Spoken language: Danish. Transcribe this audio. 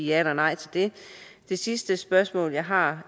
ja eller nej til det det sidste spørgsmål jeg har